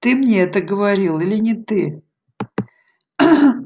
ты мне это говорил или не ты